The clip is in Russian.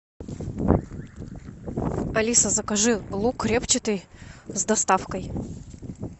алиса закажи лук репчатый с доставкой